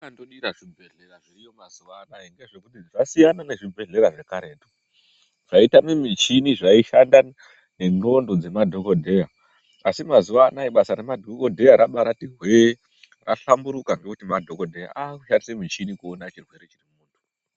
Chendinondodira zvibhehlera zviriyo mazuwanaya ngechekuti zvasiyana nezvibhehlera zvekudhaya zvaitama michini zvaishanda nendxondo dzemadhokodheya. Asi mazuwanaya masa remadhokodheya rambati hwee rahlamburuka ngekuti madhokodheya akushandisa michini kuona chirwere chemuntu.